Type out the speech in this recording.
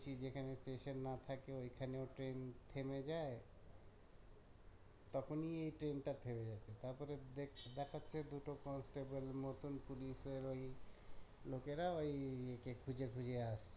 যেখানে station না থাকে ওইখানেও ট্রেন থেমে যায় তখনই এই ট্রেন টা থেমে গেছে তারপর দেখাচ্ছে দুটো constable এর মতন police এর লোকেরা ওই খুঁজে খুঁজে আসছে